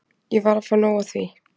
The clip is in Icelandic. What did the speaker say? Ég var að fá nóg af því.